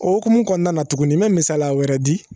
O hukumu kɔnɔna na tuguni n bɛ misaliya wɛrɛ di